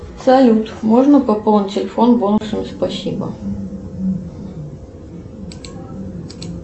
салют можно пополнить телефон бонусами спасибо